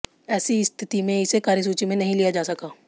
ऐसी स्थिति में इसे कार्यसूची में नहीं लिया जा सका